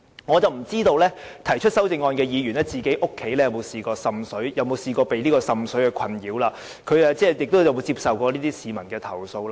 我不知道提出上述修正案的議員，家中有否曾受滲水困擾，或有否處理過市民的類似投訴。